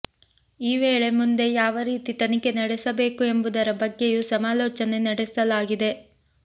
ಈ ವೇಳೆ ಮುಂದೆ ಯಾವ ರೀತಿ ತನಿಖೆ ನಡೆಸಬೇಕು ಎಂಬುದರ ಬಗ್ಗೆಯೂ ಸಮಾಲೋಚನೆ ನಡೆಸಲಾಗಿದೆ